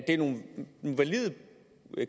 er nogle valide